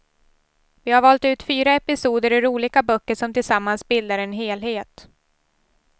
Vi har valt ut fyra episoder ur olika böcker som tillsammans bildar en helhet.